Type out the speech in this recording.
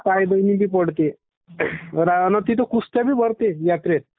is not clear नी तिथे कुस्त्या बी भरते..यात्रेत...